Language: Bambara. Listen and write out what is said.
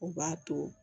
O b'a to